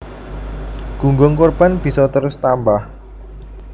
Gunggung korban bisa terus tambah